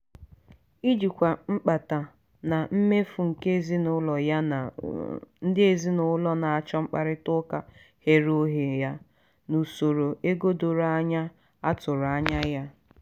ijikwa mkpata na mmefu nke ezinụlọ ya na ndị ezinụlọ na-achọ mkparịta ụka ghere oghe ya na usoro ego doro anya a tụrụ anya ya.